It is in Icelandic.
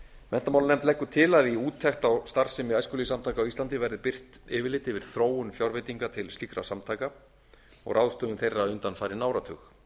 menntamálanefnd leggur til að í úttekt á starfsemi æskulýðssamtaka á íslandi verði birt yfirlit yfir þróun fjárveitinga til slíkra samtaka og ráðstöfun þeirra undanfarinn áratug